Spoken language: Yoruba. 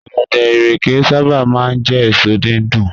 Ọ̀gẹ̀dẹ̀, ìrèké sábà máa ń jẹ́ èso dídùn